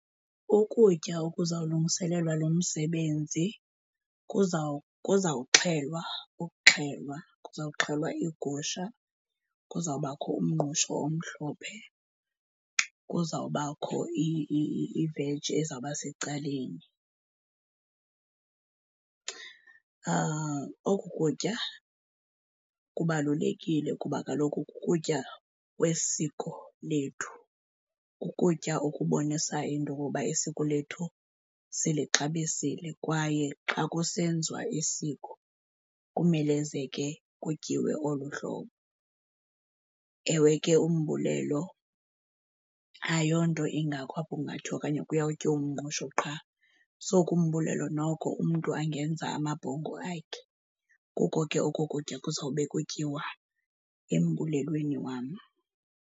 Ukutya okuzawulungiselelwa lo msebenzi kuzawuxhelwa, ukuxhelwa, kuzawuxhelwa iigusha, kuzawubakho umngqusho omhlophe, kuzawubakho iveji ezawubasecaleni. Oku kutya kubalulekile kuba kaloku kukutya kwesiko lethu, kukutya okubonisa into okokuba isiko lethu silixabisile kwaye xa kusenziwa isiko kumelezeke kutyiwe olu hlobo. Ewe ke, umbulelo ayonto ingako apho kungathiwa okanye kuyawutyiwa umngqusho qha. So ke, umbulelo noko umntu angenza amabhongo akhe. Kuko ke oko kutya kuzawube kutyiwa embulelweni wam.